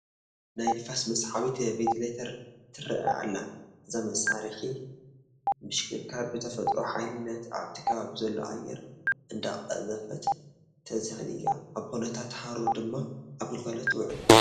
ናይ ንፋስ መስሓቢት ቨንቲሌተር ትርአ ኣላ፡፡ እዛ መሳርሒ ብምሽክርካር ብትፈጥሮ ሓይሊ ነቲ ኣብቲ ከባቢ ዘሎ ኣየር እንዳቐዘፈት ተዝሕል እያ፡፡ ኣብ ኩነታት ሓሩር ድማ ኣብ ግልጋሎት ትውዕል፡፡